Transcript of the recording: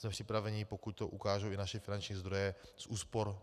Jsme připraveni, pokud to ukážou i naše finanční zdroje, z úspor